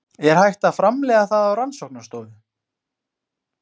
Er hægt að framleiða það á rannsóknarstofu?